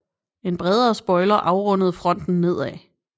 En bredere spoiler afrundede fronten nedad